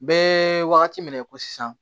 Bɛɛ wagati min na i ko sisan